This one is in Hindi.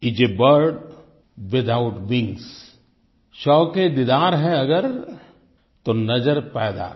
इस आ बर्ड विथआउट विंग्स शौकएदीदार है अगर तो नज़र पैदा कर